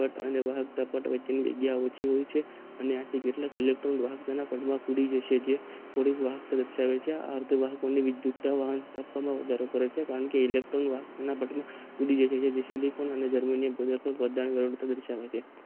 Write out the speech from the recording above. અને કેટલાક ઈલેક્ટ્રોન વાહકો તેના માં ઉડી જશે જે અર્ધવાહક દર્શાવે છે આ આર્ધવાહકો ની વિદ્યુતતા વાહકતા ઓમાં વધારો કરે છે કારણ કે ઈલેક્ટ્રોન વાહક ના બંધ ને દર્શાવે છે.